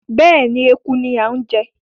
Bẹ́ẹ̀ni, Eku ni a ń jẹ